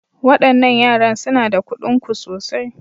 Waɗannan yaran suna da kuɗin ku sosai.